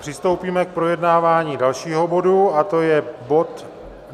Přistoupíme k projednávání dalšího bodu, a to je bod